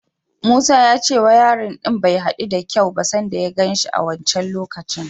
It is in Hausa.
Musa ya ce wayarin ɗin bai haɗu da kyau ba sanda ya gan shi a wancan lokacin.